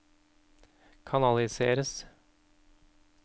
kanaliseres